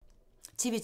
TV 2